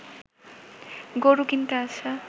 গরু কিনতে আসা